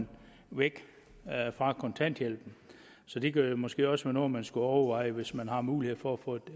væk fra kontanthjælpen så det kunne måske også være noget man skulle overveje hvis man har mulighed for at få et